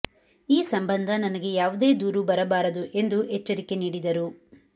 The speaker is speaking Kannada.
ಈ ಸಂಬಂಧ ನನಗೆ ಯಾವುದೇ ದೂರು ಬರಬಾರದು ಎಂದು ಎಚ್ಚರಿಕೆ ನೀಡಿದರು